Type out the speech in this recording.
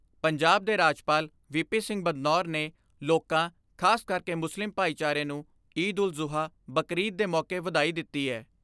ਪੰਜਾਬ ਦੇ ਰਾਜਪਾਲ V P Singh Badnore ਨੇ ਲੋਕਾਂ ਖਾਸ ਕਰਕੇ ਮੁਸਲਿਮ ਭਾਈਚਾਰੇ ਨੂੰ ਈਦ ਉਲ ਜੁਹਾ ਯਾਨੀ ਬਕਰਈਦ ਦੇ ਮੌਕੇ ਵਧਾਈ ਦਿੱਤੀ ਏ।